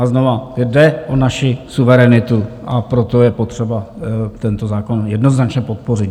A znova - jde o naši suverenitu, a proto je potřeba tento zákon jednoznačně podpořit.